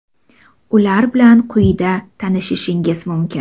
Ular bilan quyida tanishishingiz mumkin.